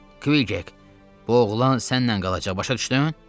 Kvik, bu oğlan sənnən qalacaq, başa düşdün?